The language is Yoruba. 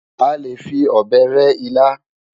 A lè fi ọ̀bẹ rẹ́ ilá.